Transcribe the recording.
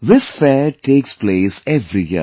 This fair takes place every year